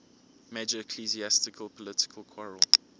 major ecclesiastical political quarrel